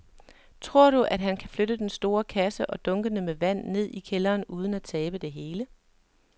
Tror du, at han kan flytte den store kasse og dunkene med vand ned i kælderen uden at tabe det hele?